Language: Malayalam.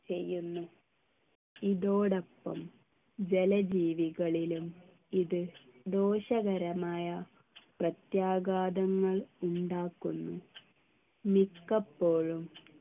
ചെയ്യുന്നു ഇതോടൊപ്പം ജലജീവികളിലും ഇത് ദോഷകരമായ പ്രത്യാഘാതങ്ങൾ ഉണ്ടാക്കുന്നു മിക്കപ്പോഴും